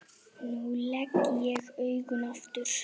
Nú legg ég augun aftur.